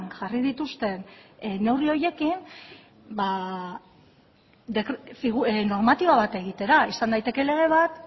jarri dituzten neurri horiekin normatiba bat egitera izan daiteke lege bat